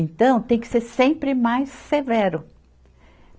Então, tem que ser sempre mais severo.